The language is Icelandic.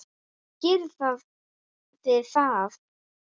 Og gerið þið það?